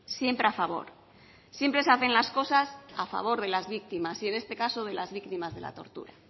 siempre a favor siempre se hacen las cosas a favor de las víctimas y en este caso de las víctimas de la tortura